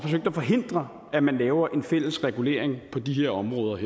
at forhindre at man laver en fælles regulering på de her områder